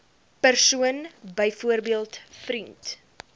persoon byvoorbeeld vriend